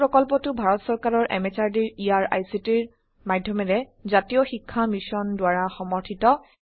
এই প্ৰকল্পটো ভাৰত সৰকাৰৰ এমএচআৰডি ইয়াৰ আইসিটিৰ মাধ্যমেৰে জাতীয় শিক্ষা মিশন দ্বাৰা সমৰ্থিত